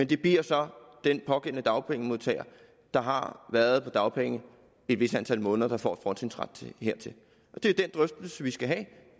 det bliver så den pågældende dagpengemodtager der har været på dagpenge et vist antal måneder der får en fortrinsret hertil det er den drøftelse vi skal have